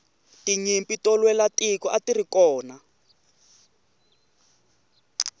tinyimpi ta lwela tiko atirikona